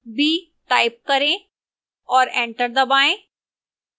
b type करें और enter दबाएं